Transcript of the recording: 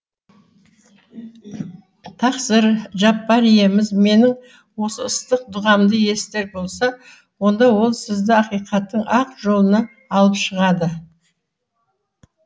тақсыр жаббар иеміз менің осы ыстық дұғамды естір болса онда ол сізді ақиқаттың ақ жолына алып шығады